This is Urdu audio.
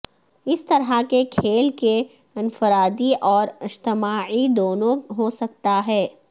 اس طرح کے کھیل کے انفرادی اور اجتماعی دونوں ہو سکتا ہے